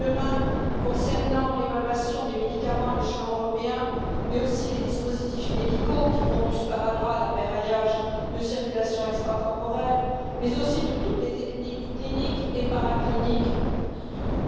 Demain, dans le cadre de l'évaluation des médicaments à l'échelon européen, mais aussi des dispositifs médicaux, qui vont du sparadrap à l'appareillage de circulation extracorporelle, mais aussi de toutes les techniques cliniques et paracliniques,